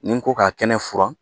Ni n ko ka kɛnɛ furan